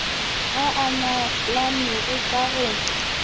a a nyalanego ka go